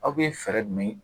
Aw bɛ fɛɛrɛ jumɛn